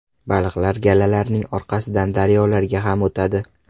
Baliqlar galalarining orqasidan daryolarga ham o‘tadi.